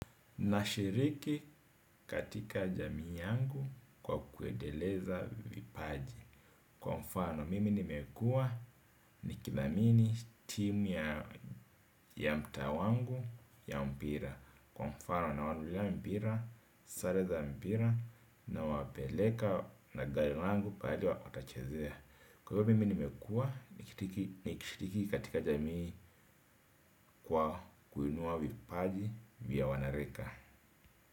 Nashiriki katika jamii yangu kwa kuendeleza vipaji. Kwa mfano mimi nimekua nikithamini timu ya mtaa wangu ya mpira. Kwa mfano nawanunulia mpira, sare za mpira nawapeleka na gari langu pahali watachezea. Kwa hivyo mimi nimekua nikishiriki katika jamii kwa kuinua vipaji vya wanarika.